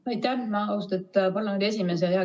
Aitäh, austatud parlamendi esimees!